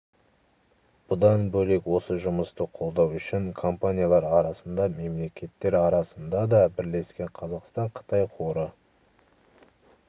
бұдан бөлек осы жұмысты қолдау үшін компаниялар арасында да мемлекеттер арасында да бірлескен қазақстан-қытай қоры